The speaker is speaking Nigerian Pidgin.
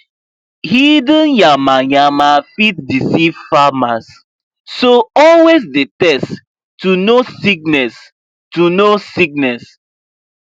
hidden yamayama fit deceive farmers so always dey test to know sickness to know sickness